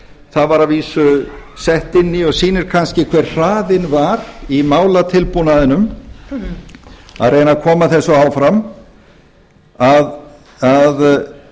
það var að vísu sett inn í og sýnir kannski hver hraðinn var í málatilbúnaðinum að reyna að koma þessu áfram að